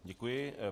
Děkuji.